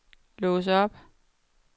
lås op